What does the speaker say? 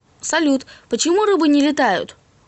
салют почему рыбы не летают